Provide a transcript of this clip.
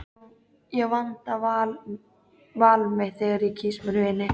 Ég vanda val mitt þegar ég kýs mér vini.